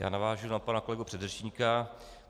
Já navážu na pana kolegu předřečníka.